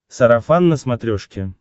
сарафан на смотрешке